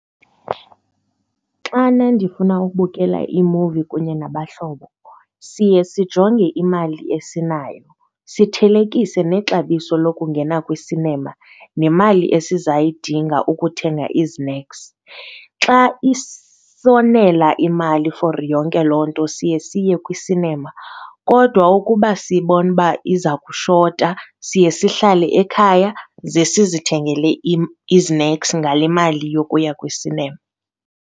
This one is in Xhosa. Xana ndifuna ubukela imuvi kunye nabahlobo siye sijonge imali esinayo sithelekise nexabiso lokungena kwi-cinema nemali esizayidinga ukuthenga izineks. Xa isonela imali for yonke loo nto siye siye kwi-cinema kodwa ukuba sibone uba iza kushota, siye sihlale ekhaya ze sizithengele izineks ngale mali yokuya kwi-cinema.